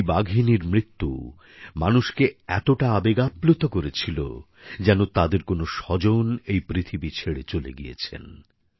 এই বাঘিনীর মৃত্যু মানুষকে এতটা আবেগপ্রবণ করেছিল যেন তাদের কোন স্বজন এই পৃথিবী ছেড়ে চলে গিয়েছেন